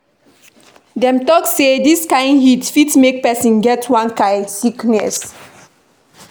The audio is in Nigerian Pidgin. Dem tok sey dis kain heat fit make pesin get one kain sickness.